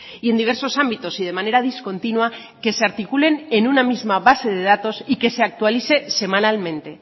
y en diversos ámbitos y de manera discontinua que se articulen en una misma base de datos y que se actualice semanalmente